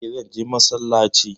Eh, zan je massalaci